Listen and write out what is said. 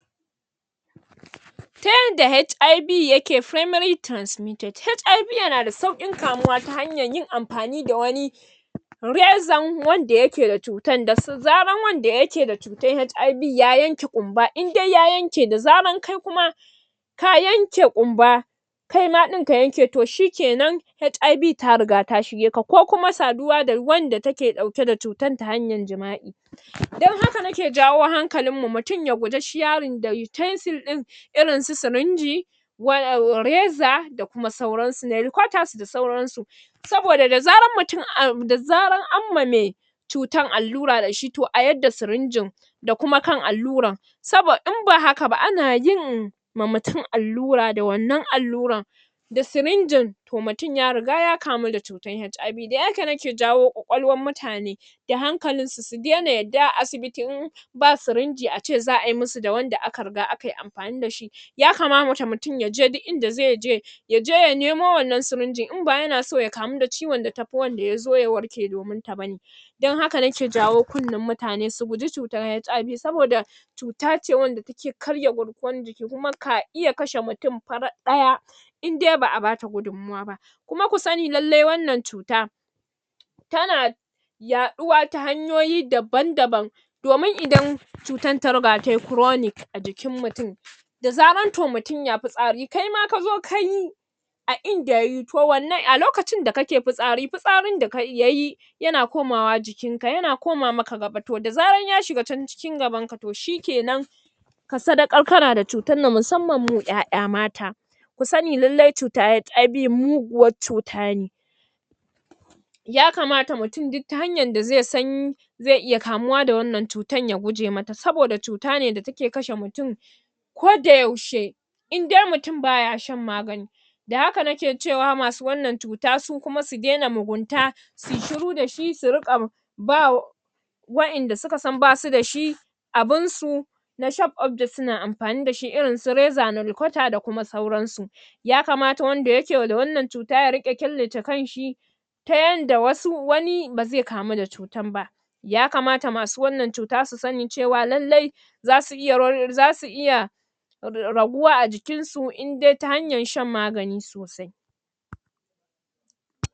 Ta yadda HIV yake primary transmitted, HIV yana da sauƙi kamuwa ta hanyar yin amfani da wani rexon wanda yake da cutan, da zarar wanda yake da cutar HIV ya yanke ƙumba in dai ya yanke da zarar kai kuma ka yanke kumba kai ma ɗin ka yanke to shikenan HIV ta riga ta shege ka, ko kuma saduwa da wand take ɗauke da cutar ta hanyar jima'i dan haka nake jawo hankalin mu mutum ya guje sharing da utensile din irin su sirinji um raza da kuma sauransu, nail cutters da kuma sauransu saboda da zarar mutum an da zarar amma me cutar allura dashi to a yadda sirinjin da kuma kan allurar saboda in ba haka ba ana yin ma mutum allura da wannan allurar da sirinjin to mutum ya riga ya kamau da cutar HIV, dan haka nake jawo kwakwalwar mutane da hankalin su, su dai na yadda asibiti in ba sirinji ace zayi musu da wanda aka iga akai amfani da shi yakamata mutum yaje duk inda zai je yaje ya nemo wannan sirinjin in ba yana so ya kamu da ciwon daya zo ya warke domin ta ba dan haka nake jawo kunnan mutane su kuji cutar HIV saboda cuta ce wanda take karya garkuwar jiki kuma ka iya kashe mutum farat ɗaya idai ba'a bata gudun mawa ba kuma ku sani lallai wannan cuta tana yaɗuwa ta hanyoyi daban daban domin idan cutar ta riga tayi chronic a jikin mutum da zarar to mutum ya fitsari kai ma kazo kayi a inda kayi to wannan, a lokacin da kake fitsari, fitsarin da kayi, yayi yana komawa jikin ka, yana koma maka gaba, da zarar ya shiga can cikin gaban ka to shikenan ka sadaƙar kana da cutar nan musammam mu 'ya'ya mata kusani lallai cutar HIV muguwar cuta ne yakamata mutum duk ta hanyar da zai san zai iya kamuwa da wannan cutar ya guje mata saboda cuta ne da take kashe mutum koda yaushe idai mutum baya san magani da haka nake cewa masu wannan cuta su kuma su daina mugunta suyi shiru dashi su riƙa bawa wa'yanda suka san basu dashi abun su na sharp object suna amfani dashi irin su reza, nail cutter da kuma sauransu yakamata wanda yake da wannan cuta ya riƙe killace kanshi ta yadda wasu wani ba zai kamu da cutar ba yakamata masu wannan cuta su sani cewa lallai zasu iya um zasu iya raguwa a jikin su, indai ta hanyan shan magani sosai